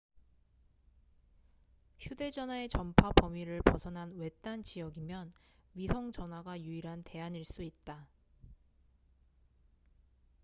휴대 전화의 전파 범위를 벗어난 외딴 지역이면 위성 전화가 유일한 대안일 수 있다